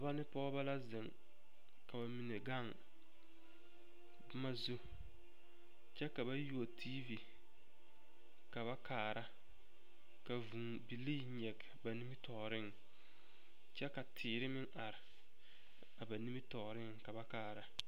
Dɔɔ ne pɔgeba la zeŋ ka ba mine gaŋ boma zu kyɛ ka ba yuo tiivi ka ba kaara ka vūū bilii nyege nimitɔɔreŋ kyɛ ka teere meŋ are a ba nimitɔɔreŋ ka ba kaara